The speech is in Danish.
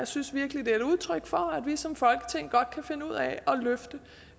synes virkelig det er et udtryk for at vi som folketing godt kan finde ud af at løfte